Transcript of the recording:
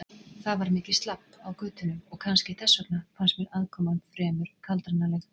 Það var mikið slabb á götunum og kannski þess vegna fannst mér aðkoman fremur kaldranaleg.